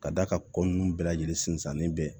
Ka d'a kan ko nunnu bɛɛ lajɛlen sinsinlen bɛ